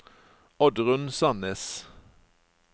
Oddrun Sannes